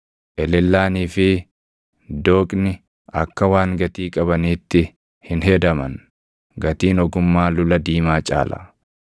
Elellaanii fi dooqni akka waan gatii qabaniitti hin hedaman; gatiin ogummaa lula diimaa caala.